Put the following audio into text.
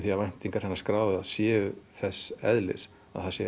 að væntingar hinna skráðu séu þess eðlis að það sé